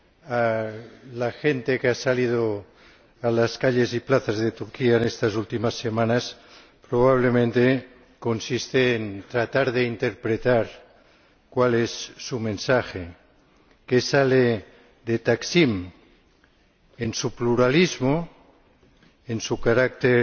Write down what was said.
a la gente que ha salido a las calles y plazas de Turquía en estas últimas semanas consiste probablemente en tratar de interpretar cuál es su mensaje, qué sale de Taksim en su pluralismo, en su carácter